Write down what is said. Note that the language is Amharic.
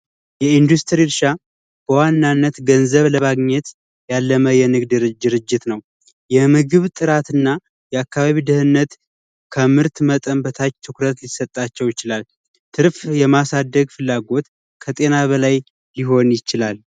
የኢንዱስትሪ እረሻ ዋናነት ገንዘብ ለማግኘት የንግድ ድርጅት ነው የምግብ ጥራትና የአካባቢ ደህነት ከምርት መጠን በታች ትኩረት ሊሰጣቸው ይችላል ።ምርትን የማሳደግ ፍላጎት ከጤና በላይ ሊሆን ይችላል።